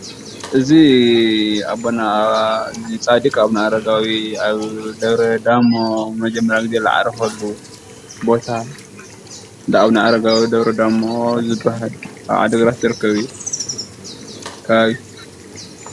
እዚ ኣቦና ጻዲቅ ኣቡነ ኣረጋዊ ኣብ ደብረዳሞ ንመጀመርያ ጊዜ ዝዓረፈሉ ቦታ እንዳ ኣቡነ ኣረጋዊ ደብረዳሞ ዝብሃል ኣብ ዓድግራት ዝርከብ እዩ።